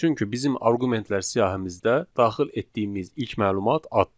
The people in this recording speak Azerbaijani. Çünki bizim arqumentlər siyahımızda daxil etdiyimiz ilk məlumat addır.